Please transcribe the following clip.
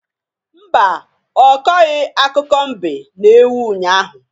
Mba, ọ kọghị akụkọ mbe na ewu unyaahụ.